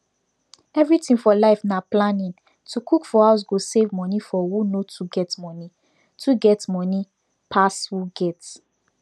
everything for life na planning to cook for house go save money for who no too get money too get money pass who get